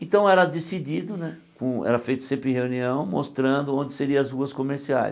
Então, era decidido né com, era feito sempre reunião, mostrando onde seria as ruas comerciais.